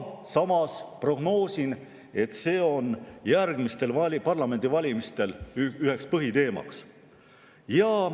Samas prognoosin, et see on järgmistel parlamendivalimistel üheks põhiteemaks.